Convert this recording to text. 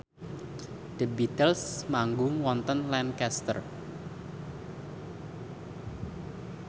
The Beatles manggung wonten Lancaster